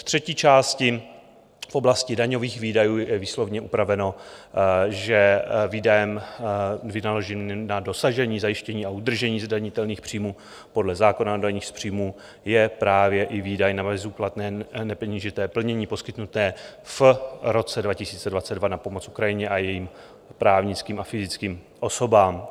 V třetí části v oblasti daňových výdajů je výslovně upraveno, že výdajem vynaloženým na dosažení, zajištění a udržení zdanitelných příjmů podle zákona o daních z příjmů je právě i výdaj na bezúplatné nepeněžité plnění poskytnuté v roce 2022 na pomoc Ukrajině a jejím právnickým a fyzickým osobám.